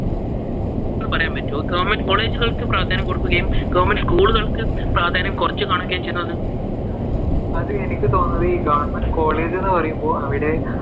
എന്ന് പറയുവാൻ പറ്റുവോ? government college കൾക്ക് പ്രാധാന്യം കൊടുക്കുകയും government school കൾക്ക് പ്രാധാന്യം കുറച്ചു കാണുകയും ചെയ്യുന്നത്. അത് എനിക്ക് തോന്നുന്നത് ഈ government college എന്ന് പറയുമ്പോ അവിടെ